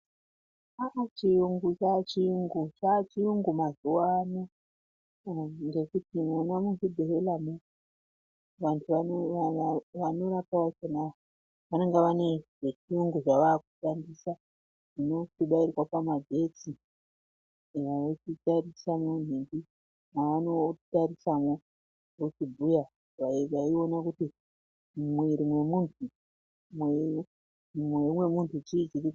Chachiyungu, chachiyungu ,chachiyungu mazuwa ano ngekuti vona muzvibhehlera mwo vantu vanorapa vakona vanenge vane zvechiyungu zvavakushandisa zvinobairwa pamagetsi veichitarisa vochibhuya kuti mumwiri mwomunhu mwakadini.